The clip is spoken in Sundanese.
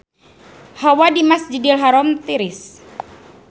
Hawa di Masjidil Haram tiris